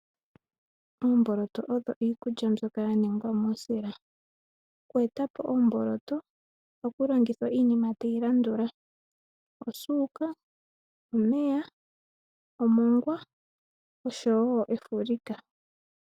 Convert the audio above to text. Oomboloto odho iikulya mbyoka ya ningwa muusila, oku eta po ombooloto, ohaku longithwa iinima tayi landula: osuuka, omeya, omongwa, oshowo efulika.